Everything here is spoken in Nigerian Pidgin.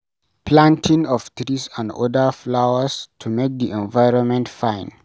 Planting of trees and oda flowers to make di environment fine